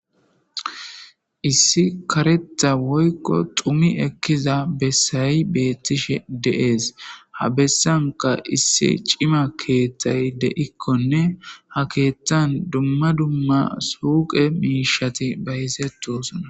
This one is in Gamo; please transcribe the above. Issi kareththa woykko xumi ekkiza bessay beeththishe de7ees; ha bessankka issi cima keeththay de7ikkonne ha keeththan dumma dumma suuqe miishshathi bayzeththoosona.